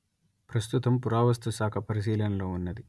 ప్రస్తుతం పురావస్తు శాఖ పరిశీలనలో ఉన్నది